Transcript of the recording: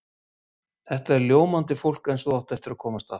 Þetta er ljómandi fólk eins og þú átt eftir að komast að.